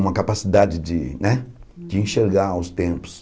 uma capacidade de né de enxergar os tempos.